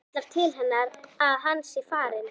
Kallar til hennar að hann sé farinn.